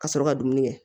Ka sɔrɔ ka dumuni kɛ